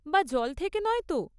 বা জলের থেকে নয় তো?